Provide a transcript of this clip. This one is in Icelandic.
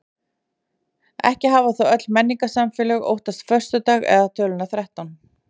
Ekki hafa þó öll menningarsamfélög óttast föstudag eða töluna þrettán.